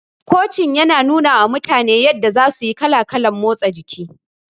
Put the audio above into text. Kocin yana nunawa mutane yadda za suyi kala kalan motsa jiki